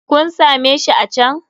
Kun same shi a can.